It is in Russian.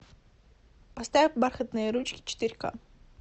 поставь бархатные ручки четыре ка